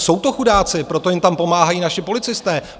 Jsou to chudáci, proto jim tam pomáhají naši policisté.